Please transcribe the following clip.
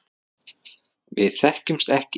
Við þekkjumst ekki.